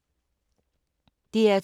DR2